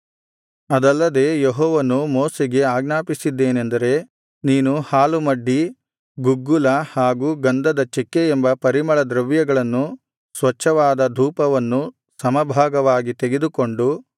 ಅದಲ್ಲದೆ ಯೆಹೋವನು ಮೋಶೆಗೆ ಆಜ್ಞಾಪಿಸಿದ್ದೇನೆಂದರೆ ನೀನು ಹಾಲುಮಡ್ಡಿ ಗುಗ್ಗುಲ ಹಾಗೂ ಗಂಧದ ಚೆಕ್ಕೆ ಎಂಬ ಪರಿಮಳ ದ್ರವ್ಯಗಳನ್ನು ಸ್ವಚ್ಛವಾದ ಧೂಪವನ್ನೂ ಸಮಭಾಗವಾಗಿ ತೆಗೆದುಕೊಂಡು